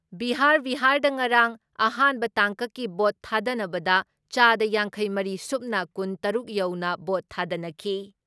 ꯕꯤꯍꯥꯥꯔ ꯕꯤꯍꯥꯔꯗ ꯉꯔꯥꯡ ꯑꯍꯥꯟꯕ ꯇꯥꯡꯀꯛꯀꯤ ꯚꯣꯠ ꯊꯥꯗꯅꯕꯗ ꯆꯥꯗ ꯌꯥꯡꯈꯩ ꯃꯔꯤ ꯁꯨꯞꯅ ꯀꯨꯟ ꯇꯔꯨꯛ ꯌꯧꯅ ꯚꯣꯠ ꯊꯥꯗꯅꯈꯤ ꯫